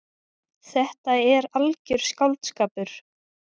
Þetta er algjör skáldskapur.